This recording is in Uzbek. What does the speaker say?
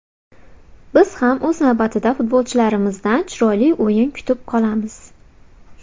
Biz ham o‘z navbatida futbolchilarimizdan chiroyli o‘yin kutib qolamiz.